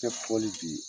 Kɛ fɔli bi